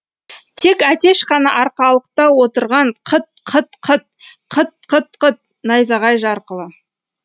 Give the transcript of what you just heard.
тек әтеш қана арқалықта отырғанқыт қыт қыт қыт қыт қыт найзағай жарқылы